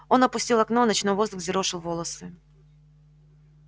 он опустил окно ночной воздух взъерошил волосы